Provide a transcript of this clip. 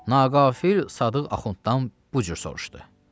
Naqafil Sadıq Axunddan bu cür soruşdu.